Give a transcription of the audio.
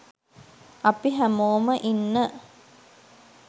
අපි හැමෝම ඉන්න